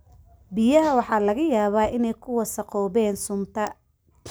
Biyaha waxaa laga yaabaa inay ku wasakhoobeen sunta.